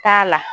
K'a la